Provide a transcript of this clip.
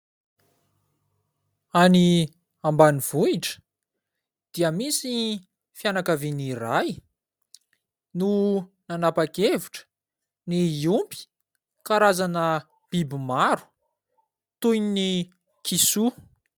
Any ambanivohitra dia misy fianakaviana iray no nanapa-kevitra ny hiompy karazana biby maro toy ny kisoa.